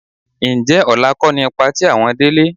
Ǹjẹ́ ọ̀la kọ́ ni patí àwọn Délé?